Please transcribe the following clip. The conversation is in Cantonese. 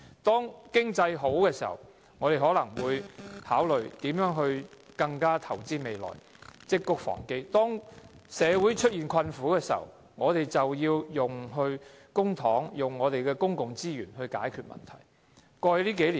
當經濟好時，我們應考慮如何投資未來，積穀防飢；當社會出現困苦時，我們便要利用公帑，利用公共資源來解決問題。